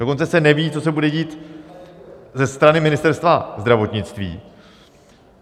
Dokonce se neví, co se bude dít ze strany Ministerstva zdravotnictví.